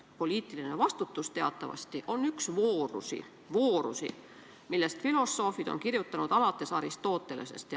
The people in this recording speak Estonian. Poliitiline vastutus on teatavasti üks voorusi, millest filosoofid on kirjutanud, alates Aristotelesest.